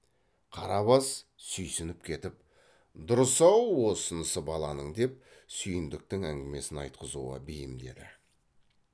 қарабас сүйсініп кетіп дұрыс ау осынысы баланың деп сүйіндіктің әңгімесін айтқызуға бейімдеді